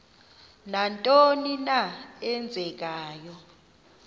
nantoni na eenzekayo